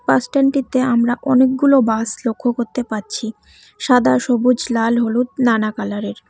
বাসস্ট্যান্ডটিতে আমরা অনেকগুলো বাস লক্ষ্য করতে পারছি সাদা সবুজ লাল হলুদ নানা কালারের।